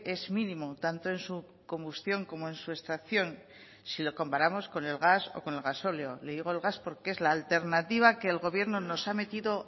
es mínimo tanto en su combustión como en su extracción si lo comparamos con el gas o con el gasóleo le digo el gas porque es la alternativa que el gobierno nos ha metido